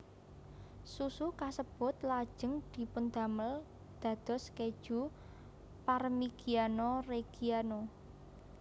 Susu kasebut lajeng dipundamel dados keju Parmigiano Reggiano